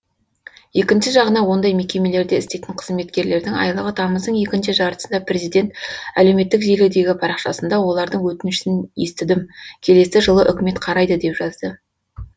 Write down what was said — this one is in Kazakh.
екінші жағынан ондай мекемелерде істейтін қызметкерлердің айлығы тамыздың екінші жартысында президент әлеуметтік желідегі парақшасында олардың өтінішін естідім келесі жылы үкімет қарайды деп жазды